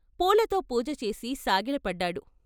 పూలతో పూజచేసి సాగిలపడ్డాడు.